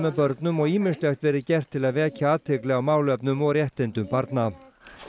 börnum og ýmislegt verið gert til að vekja athygli á málefnum og réttindum barna